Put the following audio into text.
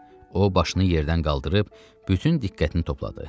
O, başını yerdən qaldırıb, bütün diqqətini topladı.